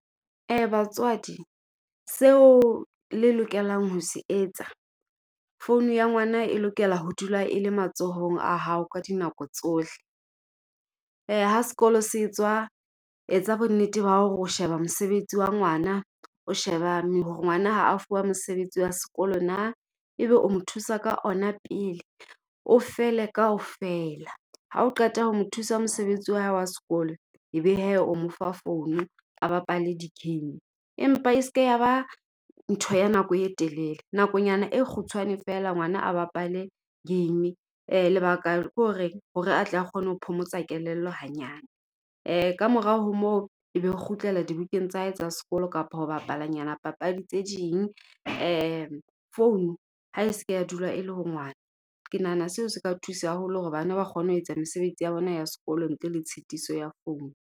Ee batswadi seo le lokelang ho se etsa. founu ya ngwana e lokela ho dula e le matsohong a hao ka dinako tsohle. Ha sekolo se etswa, etsa bo nnete ba hore o sheba mosebetsi wa ngwana, o sheba hore ngwana ha a fuwa mosebetsi wa sekolo na. Ebe o mo thusa ka ona pele o fele kaofela ha o qeta ho mo thusa mosebetsi wa hae wa sekolo ebe hee o mo fa founu a bapale di-game. Empa e se ke ya ba ntho ya nako e telele, nakonyana e kgutshwane feela ngwana a bapale game. Lebaka ke ho reng hore a tle a kgone ho phomotsa kelello hanyane. Kamora ho moo e be re kgutlela dibukeng tsa hae tsa sekolo kapa ho bapalanyana papadi tse ding. Founu ha e se ke ya dula e le ho ngwana, ke nahana seo se ka thusa haholo hore bana ba kgone ho etsa mesebetsi ya bona ya sekolo ntle le tshitiso ya founu.